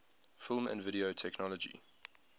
film and video technology